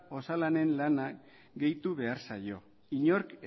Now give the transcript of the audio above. osalanen lana gehitu behar zaio inork